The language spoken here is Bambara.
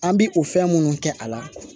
An bi o fɛn minnu kɛ a la